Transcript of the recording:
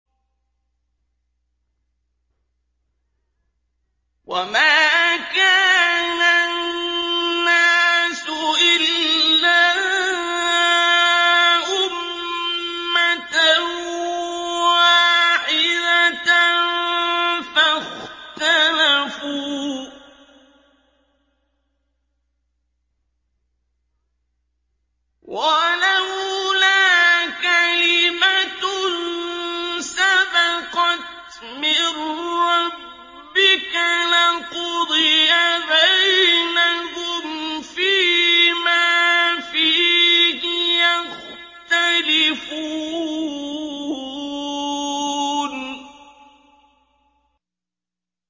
وَمَا كَانَ النَّاسُ إِلَّا أُمَّةً وَاحِدَةً فَاخْتَلَفُوا ۚ وَلَوْلَا كَلِمَةٌ سَبَقَتْ مِن رَّبِّكَ لَقُضِيَ بَيْنَهُمْ فِيمَا فِيهِ يَخْتَلِفُونَ